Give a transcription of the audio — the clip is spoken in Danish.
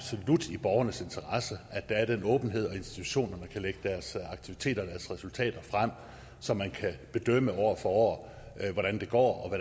i borgernes interesse at der er den åbenhed og at institutionerne kan lægge deres aktiviteter og deres resultater frem så man kan bedømme år for år hvordan det går og